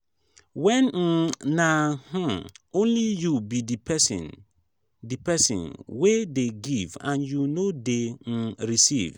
when um na um only you be di person di person wey dey give and you no dey um receive